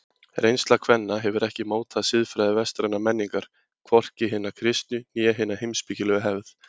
Reynsla kvenna hefur ekki mótað siðfræði vestrænnar menningar, hvorki hina kristnu né hina heimspekilegu hefð.